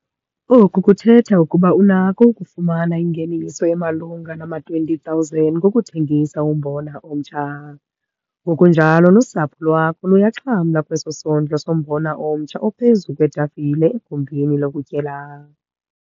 Oku kuthetha ukuba unakho ukufumana ingeniso emalunga nama-R20 000 ngokuthengisa umbona omtsha. Ngokunjalo nosapho lwakho luyaxhamla kweso sondlo sombona omtsha ophezu kwetafile egumbini lokutyela.